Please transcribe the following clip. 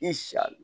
I sa l